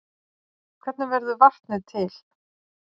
Hvernig verður vatnið til?